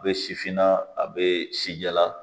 A bɛ sifinna a bɛ si jala